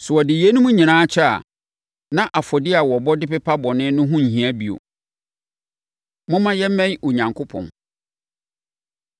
Sɛ wɔde yeinom nyinaa kyɛ a, na afɔdeɛ a wɔbɔ de pepa bɔne no ho nhia bio. Momma Yɛmmɛn Onyankopɔn